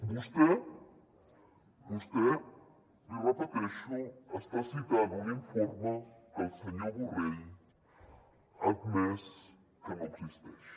vostè vostè l’hi repeteixo està citant un informe que el senyor borrell ha admès que no existeix